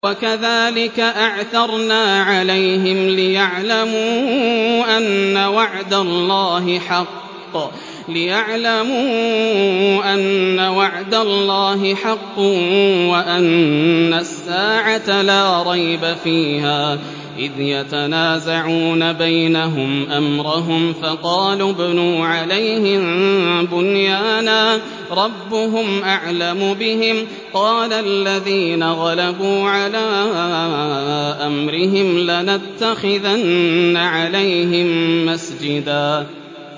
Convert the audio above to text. وَكَذَٰلِكَ أَعْثَرْنَا عَلَيْهِمْ لِيَعْلَمُوا أَنَّ وَعْدَ اللَّهِ حَقٌّ وَأَنَّ السَّاعَةَ لَا رَيْبَ فِيهَا إِذْ يَتَنَازَعُونَ بَيْنَهُمْ أَمْرَهُمْ ۖ فَقَالُوا ابْنُوا عَلَيْهِم بُنْيَانًا ۖ رَّبُّهُمْ أَعْلَمُ بِهِمْ ۚ قَالَ الَّذِينَ غَلَبُوا عَلَىٰ أَمْرِهِمْ لَنَتَّخِذَنَّ عَلَيْهِم مَّسْجِدًا